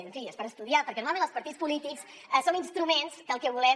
en fi és per estudiar perquè normalment els partits polítics som instruments que el que volem